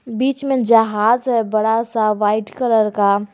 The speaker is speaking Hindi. बीच में जहाज है बड़ा सा व्हाइट कलर का।